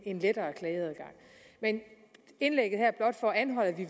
en lettere klageadgang men indlægget her er blot for at anholde at vi